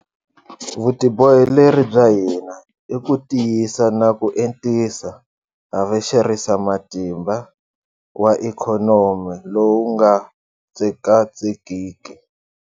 Vutiboheleri bya hina i ku tiyisa na ku entisa havexerisamatimba wa ikhonomi lowu nga tsekatsekiki.